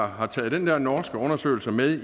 har taget den der norske undersøgelse med